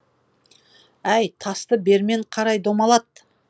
әй тасты бермен қарай домалат